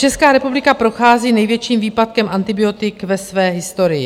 Česká republika prochází největším výpadkem antibiotik ve své historii.